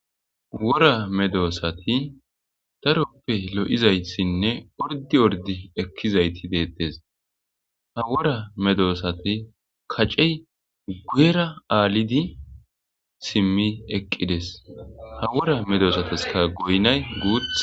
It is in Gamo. Wora medosati daroppe lo'izayssinne orddi orddi ekkizayti de'ettees ha wora medosati kacey guyera aalidi simmi eqqides ha wora medosataskka goynay guuththa.